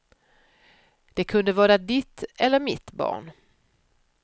De kunde vara ditt eller mitt barn.